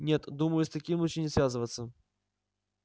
нет думаю с таким лучше не связываться